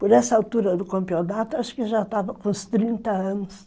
Por essa altura do campeonato, acho que já estava com uns trinta anos.